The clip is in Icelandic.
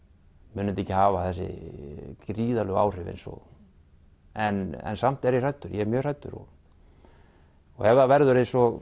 mun þetta ekki hafa þessu gríðarlegu áhrif eins og en samt er ég hræddur ég er mjög hræddur og ef það verður eins og